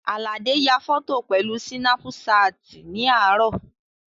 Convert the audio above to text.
Àlàdé ya fọ́tò pẹ̀lú sínápú ṣáàtì ní àárọ̀